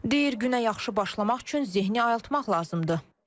Deyir günə yaxşı başlamaq üçün zehni ayıltmaq lazımdır.